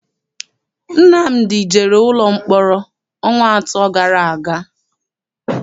Nnamdi jere ụlọ mkpọrọ ọnwa atọ gara aga.